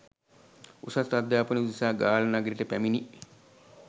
උසස් අධ්‍යාපනය උදෙසා ගාල්ල නගරයට පැමිණි